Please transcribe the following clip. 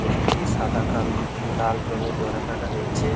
মেঝেটি সাদা কাল লাল রঙের ডোরাকাটা রয়েছে-এ।